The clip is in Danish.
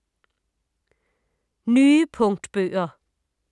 Nye punktbøger